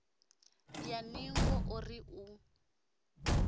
ya ningo o ri u